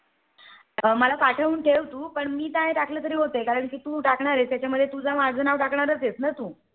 मला पाठवून ठेव तू मी काय टाकलं तरी होतंय. कारण तू टाकणार च तू त्यामुळे माझं नाव टाकणारच आहे ना तू